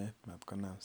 nyasutikab oret che ki kinde.